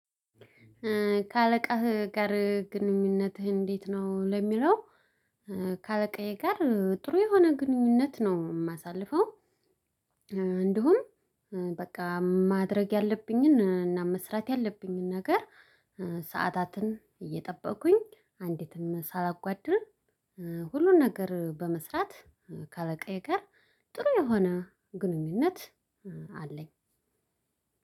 ከአለቃህ ጋር ግንኙነትህ እንዴት ነው ለሚለው? ከአለቃዬ ጋር ጥሩ የሆነ ግንኙነት ነው የማሳልፈው። እንዲሁም በቃ ማድረግ ያለብኝን እና መስራት ያለብኝን ነገር ሰዓታትን እየጠበቁኝ አንዲትም ሳላጓድል። ሁሉን ነገር በመስራት ከአለቃየ ጋር ጥሩ የሆነ ግንኙነት አለኝ።